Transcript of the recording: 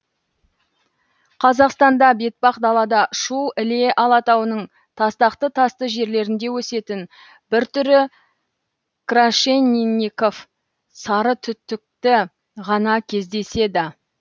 қазақстанда бетпақдалада шу іле алатауының тастақты тасты жерлерінде өсетін бір түрі крашенинников сарытүтікі ғана кездеседі